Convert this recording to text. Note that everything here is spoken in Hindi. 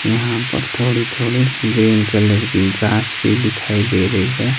यहां पर थोड़ी थोड़ी ग्रीन कलर की घास भी दिखाई दे रही है।